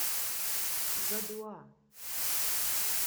гадуа